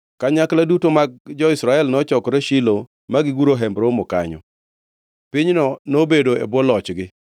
Kanyakla duto mag jo-Israel nochokore Shilo ma giguro Hemb Romo kanyo. Pinyno nobedo e bwo lochgi,